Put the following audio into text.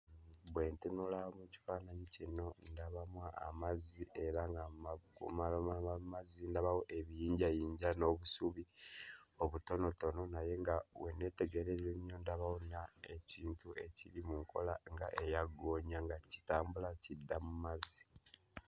Bwe ntunula mu kifaananyi kino ndabamu amazzi era nga mazzi ndabawo ebiyinjayinja n'obusubi obutonotono naye nga bwe nneetegereza ennyo ndabawo nga ekintu ekiri mu nkola nga eya ggoonya nga kitambula kidda mu mazzi.